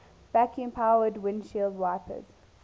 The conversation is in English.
vacuum powered windshield wipers